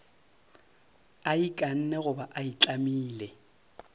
a ikanne goba a itlamile